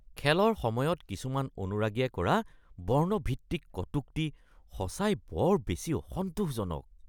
খেলৰ সময়ত কিছুমান অনুৰাগীয়ে কৰা বৰ্ণ-ভিত্তিক কটুক্তি সঁচাই বৰ বেছি অসন্তোষজনক